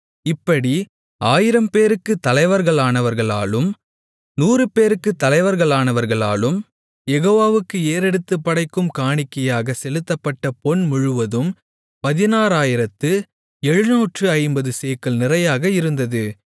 இப்படி ஆயிரம்பேருக்குத் தலைவர்களானவர்களாலும் நூறுபேருக்குத் தலைவர்களானவர்களாலும் யெகோவாவுக்கு ஏறெடுத்துப் படைக்கும் காணிக்கையாகச் செலுத்தப்பட்ட பொன் முழுவதும் பதினாறு ஆயிரத்து எழுநூற்று ஐம்பது சேக்கல் நிறையாக இருந்தது